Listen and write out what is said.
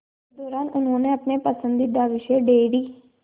इस दौरान उन्होंने अपने पसंदीदा विषय डेयरी